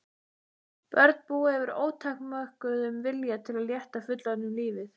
Börn búa yfir ótakmörkuðum vilja til að létta fullorðnum lífið.